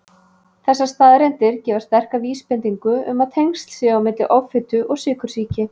Þessar staðreyndir gefa sterka vísbendingu um að tengsl séu á milli offitu og sykursýki.